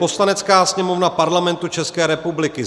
Poslanecká sněmovna Parlamentu České republiky